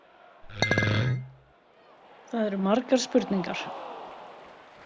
Það eru margar spurningar.